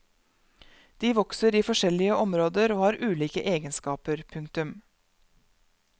De vokser i forskjellige områder og har ulike egenskaper. punktum